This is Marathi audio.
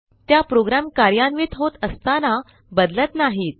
त्या प्रोग्रॅम कार्यान्वित होत असताना बदलत नाहीत